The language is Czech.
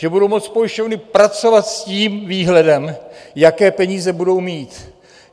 Že budou moct pojišťovny pracovat s tím výhledem, jaké peníze budou mít.